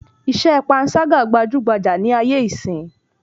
Iṣẹ́ pańṣágà gbajúgbajà ní ayé ìsín